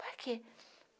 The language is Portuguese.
Para quê?